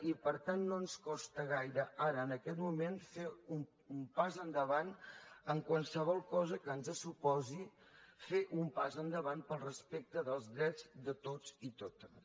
i per tant no ens costa gaire ara en aquest moment fer un pas endavant en qualsevol cosa que ens suposi fer un pas endavant per al respecte dels drets de tots i totes